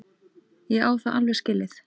Ég á það alveg skilið.